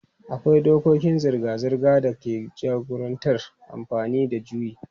Akwai dokokin zirga-zirga da ke jagorantar amfani da juyi.